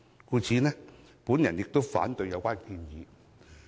故此，我反對有關修正案。